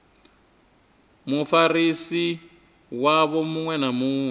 mufarisi wavho muṅwe na muṅwe